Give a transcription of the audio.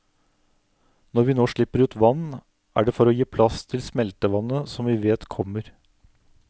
Når vi nå slipper ut vann, er det for å gi plass til smeltevannet som vi vet kommer.